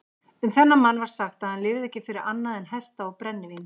Um þennan mann var sagt að hann lifði ekki fyrir annað en hesta og brennivín.